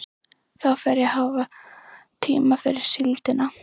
Þá fer ég að hafa tíma fyrir síldina.